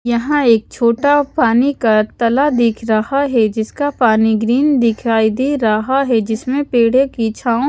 यहाँ एक छोटा पानी का तलब दिख रहा है जिसका पानी ग्रीन दिखाई दे रहा है जिसमे पेढ़े की छाव --